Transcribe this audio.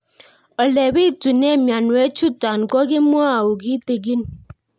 Ole pitune mionwek chutok ko kimwau kitig'ín